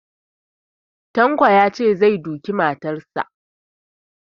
Tanko zai duki matarsa